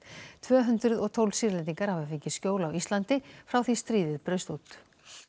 tvö hundruð og tólf Sýrlendingar hafa fengið skjól á Íslandi frá því stríðið braust út